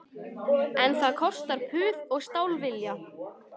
En það kostar puð og stálvilja